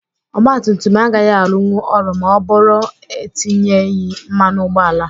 Ọgba tum tum agaghị arụnwu ọrụ ma ọ bụrụ etinyeghị mmanụ ụgbọala.